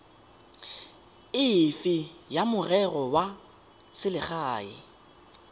efe ya merero ya selegae